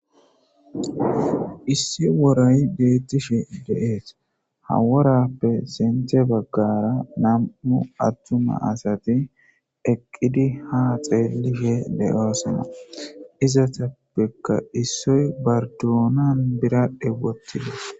Issi woray beettishe de'es haworappe sente baggara nam'u attuma asati eqqidi ha xeelihe de'oosona izatappekka issoy bardoonan biradhe woththides